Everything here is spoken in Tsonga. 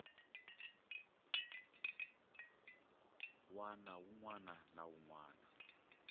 wana na wun wana a